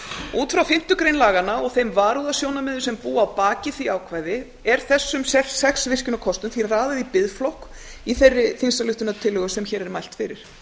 út frá fimmtu grein laganna og þeim varúðarsjónarmiðum sem búa að baki því ákvæði er þessum sex virkjunarkostum því raðað í biðflokk í þeirri þingsályktunartillögu sem hér er mælt fyrir